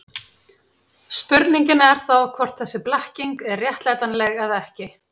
Spurningin er þá hvort þessi blekking er réttlætanleg eða ekki.